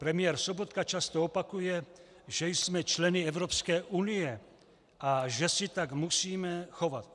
Premiér Sobotka často opakuje, že jsme členy Evropské unie a že se tak musíme chovat.